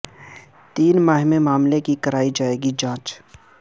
تین ماہ میں معاملے کی کرائی جائے گی جانچ